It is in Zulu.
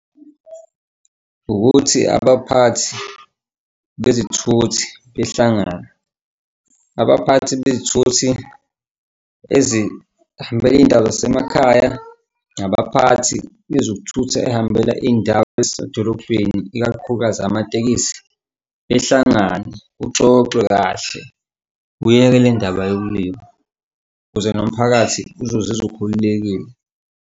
Ukuthi abaphathi bezithuthi behlangane. Abaphathi bezithuthi ezihamba iy'ndawo zasemakhaya nabaphathi bezokuthutha ehambela iy'ndawo ezisedolobheni ikakhulukazi amatekisi behlangane kuxoxwe kahle, uyeke le ndaba yokulima ukuze nomphakathi uzozizwa ukhululekile.